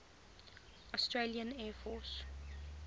australian air force